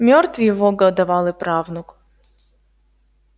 мёртв его годовалый правнук